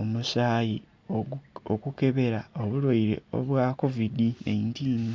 omusayi okukebera obulwaire obwa kovidi naintini.